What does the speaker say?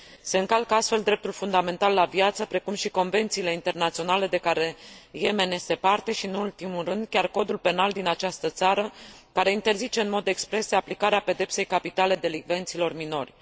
Se încalcă astfel dreptul fundamental la viață, precum și convențiile internaționale la care Yemen este parte și, nu în ultimul rând, chiar codul penal din această țară, care interzice în mod expres aplicarea pedepsei capitale delincvenților minori.